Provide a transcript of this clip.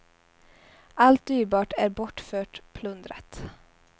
Allt dyrbart är bortfört, plundrat.